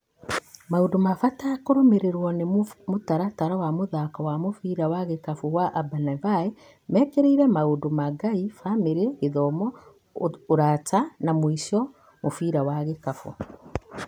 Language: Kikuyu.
Maũndũ ma bata ma kũrũmĩrĩrwo nĩ mũtaratara wa mũthako wa mũbira wa gĩkabũ wa Ambanivae mekĩrĩire maũndũ ma Ngai, bamĩrĩ, gĩthomo, ũrata na mwĩsho mũbira wa gĩkabũ.